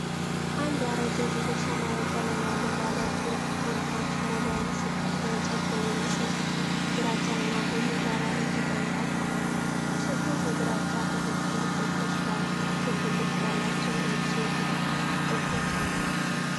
አንድ ያረጀ፣ ጥቁር ሰማያዊ ቀለም ያለው ባለ ቁልፎች ሞባይል ስልክ በእንጨት በሚመስል ግራጫና ቡኒ ዳራ ላይ ተቀምጧል። ስልኩ ከግራጫ ቁጥጥር ቁልፎች ጋር ክብ ቅርጽ ያላቸው ነጭ የቁጥር ቁልፎች አሉት።